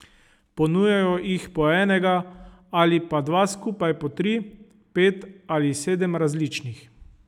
Ponujajo jih po enega ali pa skupaj po tri, pet ali sedem različnih.